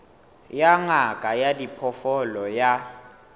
ya ngaka ya diphoofolo ya